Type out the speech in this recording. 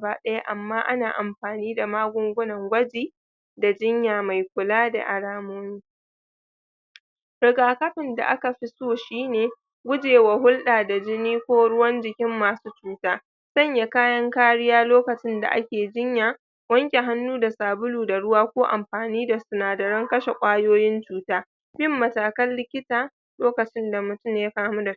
ba ana iya amfani da magungunan magunguna kamar kamar sulphati kulawa da kulawa nan kulawa na musamman ana saka mara lafiya a dakin kulawa ta musamman idan yana cikin hatsarin mututwa a wasu lokuta ana iya amfani da inji taimak taimakon numfashi idan mara lafiyar bai bai iya numfashi da kansa ba bayan jiki ya ya farfado ana ana korar ana korar da ma ana korar da mara koyar da mara lafiya yadda zai rika amfani da inhaler daidai